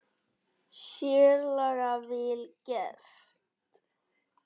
Sérlega vel gert.